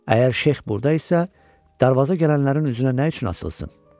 Əgər Şeyx burda isə, darvaza gələnlərin üzünə nə üçün açılsın?